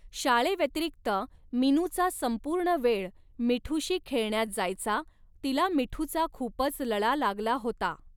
शाळे व्यतिरिक्त मिनूचा संपूर्ण वेळ मिठूशी खेळण्यात जायचा, तिला मिठूचा खूपच लळा लागला होता.